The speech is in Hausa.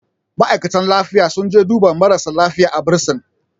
ma'aikatan lifiya sun je duba marasa lafiya a bursin